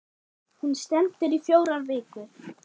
Hún stendur í fjórar vikur.